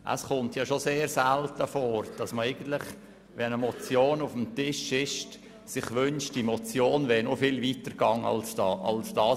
Es kommt schon sehr selten vor, dass man sich – wenn eine Motion auf dem Tisch liegt – wünscht, diese wäre noch viel weiter gegangen als deren Forderung.